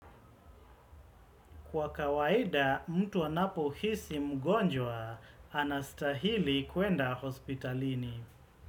Kwa kawaida mtu anapo hisi mgonjwa anastahili kuenda hospitalini.